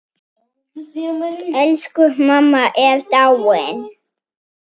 Elsku amma er dáinn.